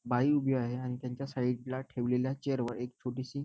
बाई उभी आहे आणि त्याच्या साइड ला ठेवलेल्या चेअर वर एक छोटीसी --